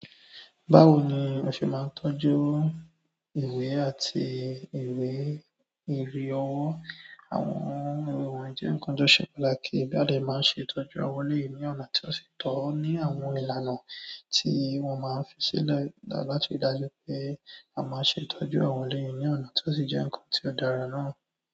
Báwo ni a se máa ń tọ́jú ìwé àti ìwé ìrí ọwọ́ àwọn wọ̀nyí jẹ́ nǹkan tó ṣe pàtàkì bí a de ṣe máa ń ṣe tọ́jú ọ̀wọ̀ lèyí ní ọ̀nà tí ó sì tọ́ ní àwọn ìlànà tí wọ́n máa ń fi sílẹ̀ láti dájú pé won ma nṣe ìtọ́jú owo ni ọ̀nà ti si je nkan ti o dára na.